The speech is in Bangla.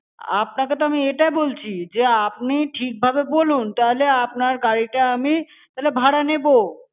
আপনাকে তো আমি এটা বলছি যে, আপনি ঠিক ভাবে বলুন. তাহলে আপনার গাড়িটা আমি ভাড়া নেবো।